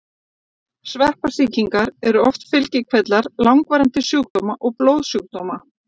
Sveppasýkingar eru oft fylgikvillar langvarandi sjúkdóma og blóðsjúkdóma.